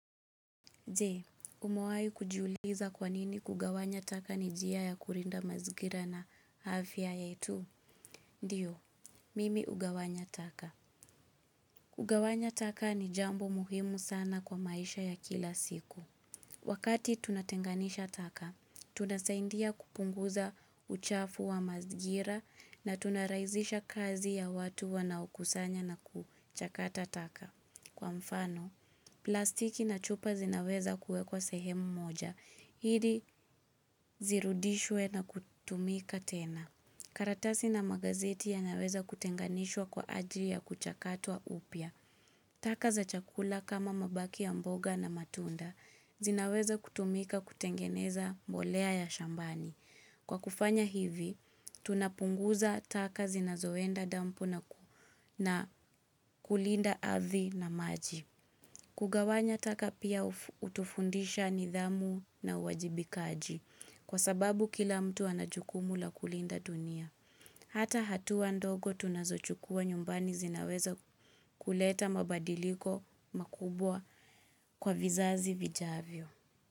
Je, umewahi kujiuliza kwa nini kugawanya taka ni njia ya kulinda mazingira na afya yetu? Ndiyo, mimi ugawanya taka. Kugawanya taka ni jambo muhimu sana kwa maisha ya kila siku. Wakati tunatenganisha taka, tunasaidia kupunguza uchafu wa mazingira na tunarahisisha kazi ya watu wanaukusanya na kuchakata taka. Kwa mfano, plastiki na chupa zinaweza kuwekwa sehemu moja. Ili zirudishwe na kutumika tena. Karatasi na magazeti yanaweza kutenganishwa kwa ajili ya kuchakatwa upya. Taka za chakula kama mabaki ya mboga na matunda. Zinaweza kutumika kutengeneza mbolea ya shambani. Kwa kufanya hivi, tunapunguza taka zinazoenda dampu na kulinda ardhi na maji. Kugawanya taka pia hutufundisha nidhamu na uwajibikaji kwa sababu kila mtu anajukumu la kulinda dunia. Hata hatua ndogo tunazo chukua nyumbani zinaweza kuleta mabadiliko makubwa kwa vizazi vijavyo.